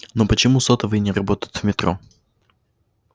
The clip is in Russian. ну почему сотовые не работают в метро